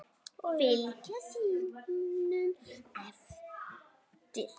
Fylgja sínum eftir.